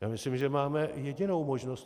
Já myslím, že máme jedinou možnost.